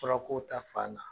Fɔlɔ ko ta fan na